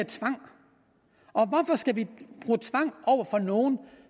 tvang hvorfor skal vi bruge tvang over for nogen